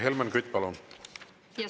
Helmen Kütt, palun!